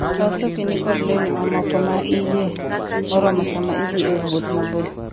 Kaw sokini kod lewni mamoko ma iye moromo sama idhi e wuoth mabor.